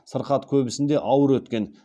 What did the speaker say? сырқат көбісінде ауыр өткен